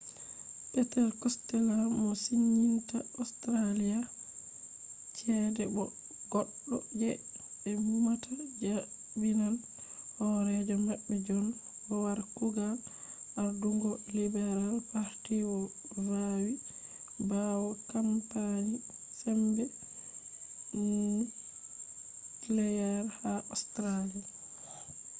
peter costella mo siginta australia chede bo goddo je be numata jabinan horejo mabbe john howard kugal ardungo liberal party vawi bawo kampani sembe nuclear ha australia